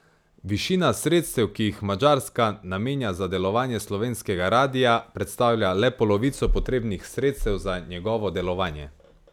Višina sredstev, ki jih Madžarska namenja za delovanje slovenskega radia, predstavlja le polovico potrebnih sredstev za njegovo delovanje.